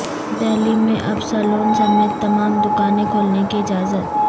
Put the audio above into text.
دہلی میں اب سلون سمیت تمام دکانیں کھولنے کی اجازت